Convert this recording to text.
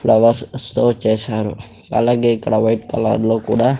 ఫ్లవర్సతో చేసారు అలాగే ఇక్కడ వైట్ కలర్ లో కూడా --